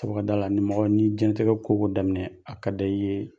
Aw ka d'a la ni mɔgɔ n'i diɲɛnatigɛ koko daminɛ a kada i ye.